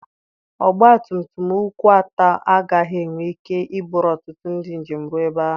Ọgba tum tum ụkwụ atọ agaghị enwe ike iburu ọtụtụ ndị njem rụọ ebe ahụ.